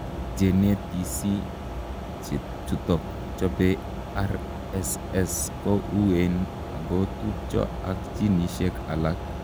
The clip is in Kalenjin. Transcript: Jenetisi chutok chopee RSS ko uween ako tupchoo ak jinisiek alaak